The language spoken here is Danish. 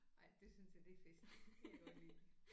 Ej det synes jeg det er fedt det kan jeg godt lide